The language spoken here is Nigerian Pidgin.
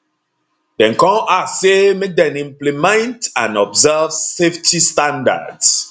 dem kon ask say make dem implement and observe safety standards